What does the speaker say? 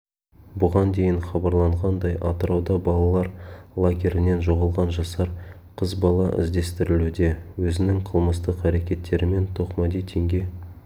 бұған дейін хабарланғандай атырауда балалар лагерінен жоғалған жасар қыз бала іздестірілуде өзінің қылмыстық әрекеттерімен тоқмади теңге